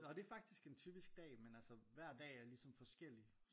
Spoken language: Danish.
Ja og det er faktisk en typisk dag men altså hver dag er ligesom forskellig